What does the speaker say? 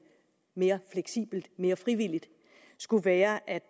mere fleksibelt mere frivilligt skulle være at